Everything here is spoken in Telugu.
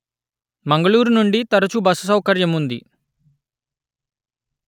మంగళూరు నుండి తరచు బస్సు సౌకర్యం ఉంది